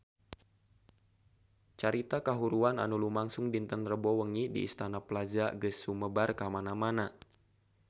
Carita kahuruan anu lumangsung dinten Rebo wengi di Istana Plaza geus sumebar kamana-mana